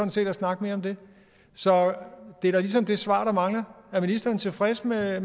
til at snakke mere om det så det er da ligesom det svar der mangler er ministeren tilfreds med at